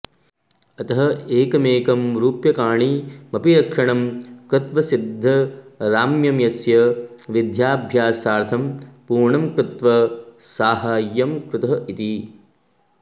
अतः एकमॆकं रूप्यकाणिमपि रक्षणं कृत्व सिद्धराम्य्यस्य विद्याभ्यासार्थं पूर्णं कृत्व साहाय्यम् कृतः इति